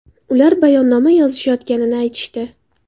Ular bayonnoma yozishayotganini aytishdi.